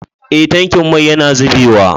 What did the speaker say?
Eh tankin mai yana zubewa.